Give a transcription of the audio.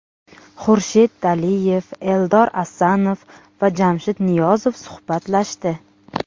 Xurshid Daliyev, Eldar Asanov va Jamshid Niyozov suhbatlashdi.